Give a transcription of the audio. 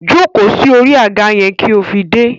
Jóko sí orí àga yẹn kí ó fi dé!